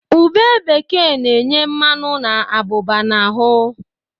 Ube bekee na-enye mmanụ na abụba n"ahụ.